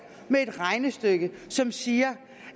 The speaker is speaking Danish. med et regnestykke som siger